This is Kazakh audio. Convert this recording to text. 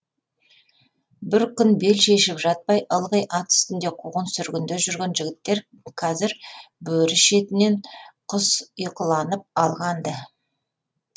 бір күн бел шешіп жатпай ылғи ат үстінде қуғын сүргінде жүрген жігіттер қазір бөрі шетінен құс ұйқыланып алған ды